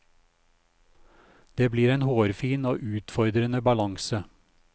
Det blir en hårfin og utfordrende balanse.